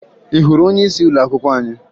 Ị hụrụ onyeisi ụlọakwụkwọ anyị?